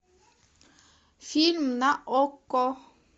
фильм на окко